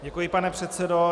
Děkuji, pane předsedo.